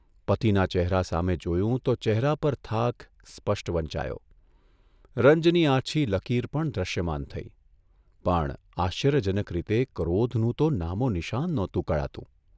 પતિના ચહેરા સામે જોયું તો ચહેરા પર થાક સ્પષ્ટ વંચાયો, રંજની આછી લકીર પણ દ્રશ્યમાન થઇ, પણ આશ્ચર્યજનક રીતે ક્રોધનું તો નામોનિશાન નહોતું કળાતું.